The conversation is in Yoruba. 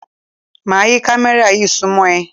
Máa yí kámẹ́rà yí súnmọ́ ẹ.